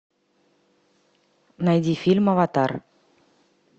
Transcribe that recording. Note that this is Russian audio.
найди фильм аватар